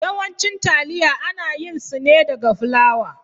Yawancin taliya ana yin su ne daga flawa.